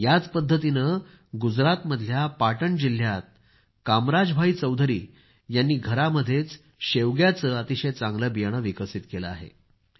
याच पद्धतीनं गुजरातमधल्या पाटण जिल्ह्यात कामराज भाई चौधरी यांनी घरामध्येच शेवग्याचं अतिशय चांगले बियाणं विकसित केलं आहे